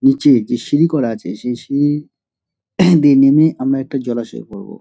নিচে যে সিঁড়ি করা আছে সেই সিঁড়ি দিয়ে নেমে আমরা একটা জলাশয় পাবো।